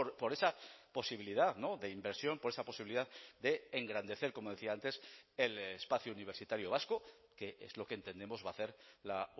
por esa posibilidad de inversión por esa posibilidad de engrandecer como decía antes el espacio universitario vasco que es lo que entendemos va a hacer la